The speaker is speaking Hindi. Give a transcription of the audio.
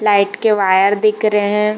लाइट के वायर दिख रे हैं।